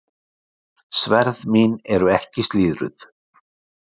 Sverð mín eru ekki slíðruð.